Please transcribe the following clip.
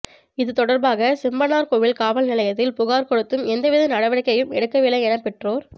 இது தொடர்பாக செம்பனார்கோவில் காவல்நிலையத்தில் புகார் கொடுத்தும் எந்த வித நடவடிக்கையும் எடுக்கவில்லை என பெற்றோர்